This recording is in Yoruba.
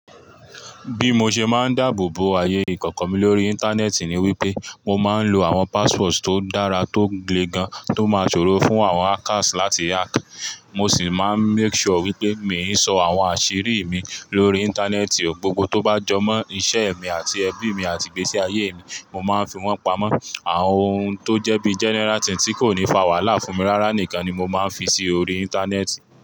Bí mo ṣe máa ń dáàbò bo aayè ìkọ̀kọ̀ mi lórí Íńtánẹ́ẹ̀tì ni wípé mo máa ń lo àwọn passwords tó dára tó glegán tó máa ṣòro fún àwọn hackers láti hack. Mo sì máa ń make sure wípé miì ń sọ àwọn àṣírí mi lórí Íńtánẹ́ẹ̀tì. Gbogbo tó bá jọ mọ́ iṣẹ́ mi àti ẹbí mi àti ìgbésí-ayé mi, mo máa ń fi wọ́n pamọ́. Àwọn ohun tó jẹ́ bí general thing tí kò ní fa wàhálà fún mi rárá nìkan ni mo máa ń fi sí orí Íńtánẹ́ẹ̀tì.